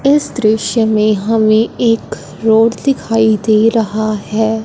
इस दृश्य में हमें एक रोड दिखाई दे रहा है।